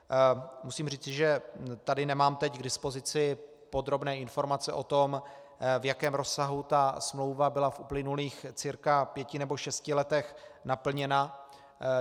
Musím říci, že tady nemám teď k dispozici podrobné informace o tom, v jakém rozsahu ta smlouva byla v uplynulých cca pěti nebo šesti letech naplněna.